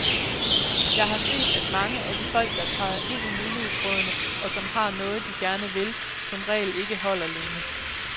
Jeg har set, at mange af de folk, der træder ind i menighedsrådene, og som har noget, de gerne vil, som regel ikke holder længe.